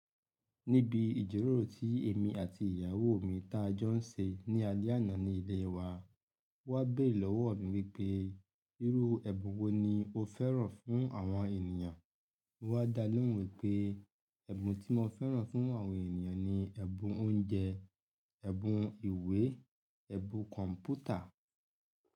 Níbi ìjíròrò tí èmi àti ìyàwó mi ta jọ ń ṣe ní alẹ́ àná ní ilé wa, O wá bèrè lọ́wọ́ mi wípé, irú ẹbun wo ni o fẹ́ràn fún àwọn ènìyàn? Mo wá dáa lòhun wipé, ẹbun tí mo fẹ́ràn fún àwọn ènìyàn ni ẹ̀bùn oúnjẹ, ẹ̀bùn ìwé, ẹ̀bùn kọ̀m̀pútà.